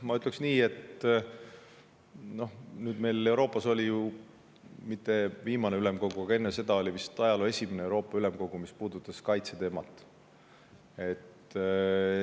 Ma ütleks nii, et nüüd hiljuti oli Euroopa Ülemkogu – mitte viimane, vaid enne seda – vist ajaloo esimene selline, mis puudutas kaitseteemat.